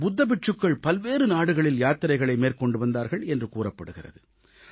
புத்த பிட்சுக்கள் பல்வேறு நாடுகளில் யாத்திரைகள் மேற்கொண்டு வந்தார்கள் என்று கூறப்படுகிறது